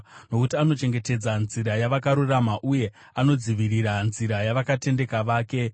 nokuti anochengetedza nzira yavakarurama, uye anodzivirira nzira yavakatendeka vake.